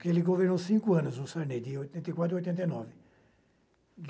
que ele governou cinco anos, o Sarney, de oitenta e quatro a oitenta e nove.